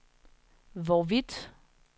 hvorvidt